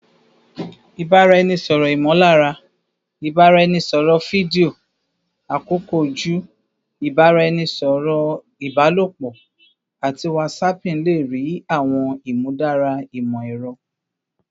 Ibaraẹnisọrọ imolara, ibaraẹnisọrọ fidio, akoko oju, ibaraẹnisọrọ ibalopo, ati whatsapping le rii awọn imudara imọ-ẹrọ